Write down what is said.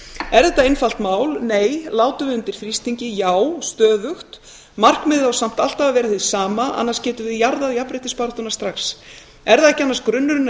er þetta einfalt mál nei látum við undan þrýstingi já stöðugt markmiðið á samt alltaf að vera hið sama annars getum við jarðað jafnréttisbaráttuna strax er það ekki annars grunnurinn að